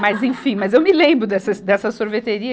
Mas, enfim, mas eu me lembro dessas, dessa sorveteria.